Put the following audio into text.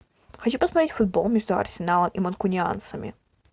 хочу посмотреть футбол между арсеналом и манкунианцами